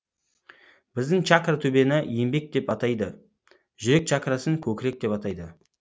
біздің чакра төбені енбек деп атайды жүрек чакрасын көкірек деп атайды